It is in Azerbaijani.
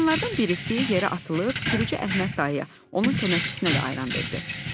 Qadınlardan birisi yerə atılıb sürücü Əhməd dayıya, onun köməkçisinə də ayran verdi.